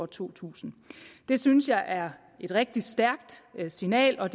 to tusind det synes jeg er et rigtig stærkt signal og